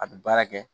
A bɛ baara kɛ